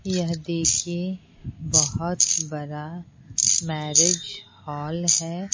यह देखिए बहुत बड़ा मैरिज हॉल है।